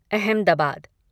Ahmedabad